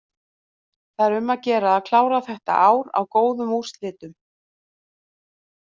Það er um að gera að klára þetta ár á góðum úrslitum.